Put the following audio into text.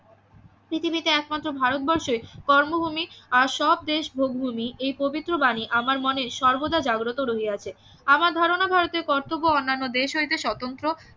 পৃথিবীতে একমাত্র ভারতবর্ষই কর্মভূমি আর সব দেশ ভোগভূমি এই পবিত্র বানী আমার মতে সর্বদা জাগ্রত রহিয়াছে আমার ধারণা ভারতের কর্তব্য অন্যান্য দেশ হইতে স্বতন্ত্র